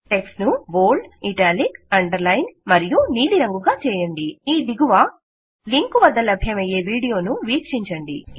text ను bold italic underlined మరియ్ నీలి రంగుగా చేయండి ఈ దిగువ లింకు వద్ద లభ్యమయ్యే వీడియోను వీక్షించండి